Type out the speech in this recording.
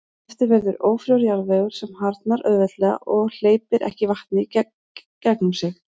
Eftir verður ófrjór jarðvegur sem harðnar auðveldlega og hleypir ekki vatni í gegnum sig.